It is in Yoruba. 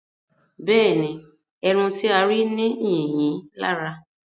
Bẹ́ẹ̀ni, ẹran tí a rí ní yìnyín lára